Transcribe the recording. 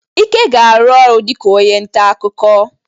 Ike ga-arụ ọrụ dịka onye nta akụkọ.